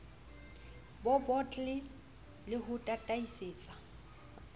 bo bottle le ho tataisetsa